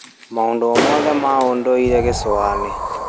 Maũndũ o mothe ma ũndũire Gĩcũa-inĩ .